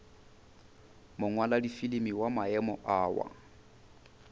mongwaladifilimi wa maemo a wa